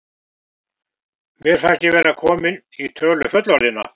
Mér fannst ég vera komin í tölu fullorðinna.